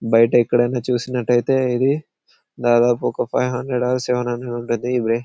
బయట ఎక్కడ ఆయన చూసినట్టు అయితే ఇది దాదాపు ఒక five hundred or seven hundred ఉంటుంది ఈమె.